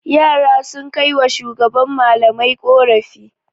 Yara sun kai wa shugaban malamai ƙorafi.